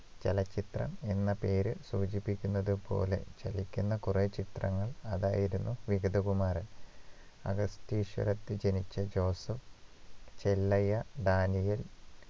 ചലച്ചിത്രം എന്ന പേര് സൂചിപ്പിക്കുന്നത് പോലെ ചലിക്കുന്ന കുറെ ചിത്രങ്ങൾ അതായിരുന്നു വിഗതകുമാരൻ അഗസ്തീശ്വരത്തിൽ ജനിച്ച ജോസഫ് ചെല്ലയ്യ ഡാനിയേൽ